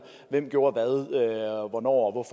hvem der gjorde hvad hvornår